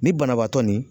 Ni banabaatɔ ni